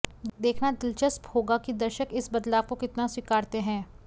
देखना दिलचस्प होगा कि दर्शक इस बदलाव को कितना स्वीकारते हैं